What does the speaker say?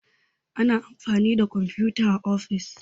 Ana amfani da komfuta a ofis